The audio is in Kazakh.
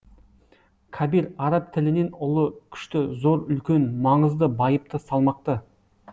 кабир араб тілінен ұлы күшті зор үлкен маңызды байыпты салмақты